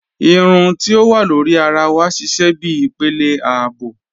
Irùn ti o wà lórí àrà wà sísẹ̀ bí ìpélé ààbò